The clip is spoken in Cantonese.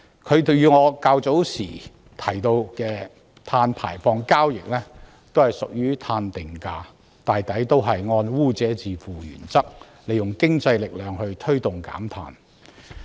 碳稅與我較早時提到的碳排放交易均屬於碳定價制度，同樣是按污者自付的原則，利用經濟力量推動減碳。